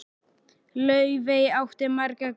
Laufey átti marga góða vini.